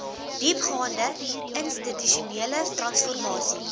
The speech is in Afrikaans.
diepgaande institusionele transformasie